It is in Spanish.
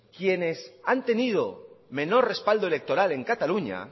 quienes han tenido menor respaldo electoral en cataluña